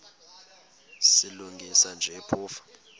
silungisa nje phofu